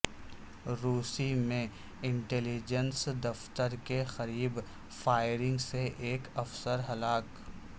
روس میں انٹلیجنس دفتر کے قریب فائرنگ سے ایک افسر ہلاک